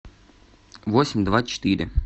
восемь два четыре